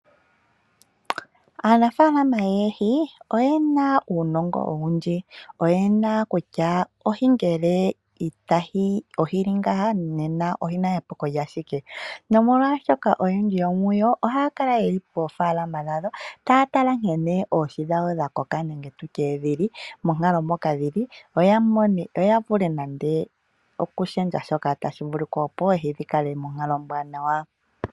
Aanafalama yoohi oyena uunongo owundji, oyeshishi okutala oohi ndhi dhina epuko noyendji ohaakala poofalama dhawo taatala nkene oohi dhawo dhakoka no kutala monkalo moka dhili, yo yavule okushendja opo oohi dhivule okukala monkalo ombwaanawa.